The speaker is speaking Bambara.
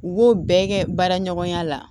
U b'o bɛɛ kɛ baara ɲɔgɔnya la